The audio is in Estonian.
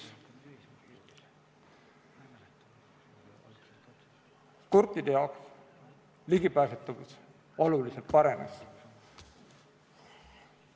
Kurtide jaoks ligipääsetavus oluliselt paranes.